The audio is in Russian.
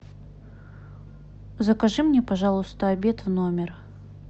закажи мне пожалуйста обед в номер